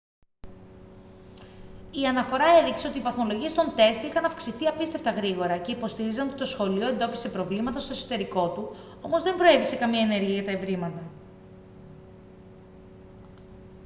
η αναφορά έδειξε ότι οι βαθμολογίες των τεστ είχαν αυξηθεί απίστευτα γρήγορα και υποστήριζαν ότι το σχολείο εντόπισε προβλήματα στο εσωτερικό του όμως δεν προέβη σε καμία ενέργεια για τα ευρήματα